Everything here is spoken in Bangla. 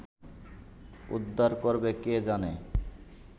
উদ্ধার করবে কে জানে